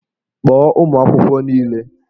Kpọọ ụmụ akwụkwọ niile!